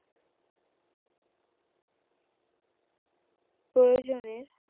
প্রয়োজনের